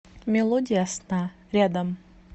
мелодия сна рядом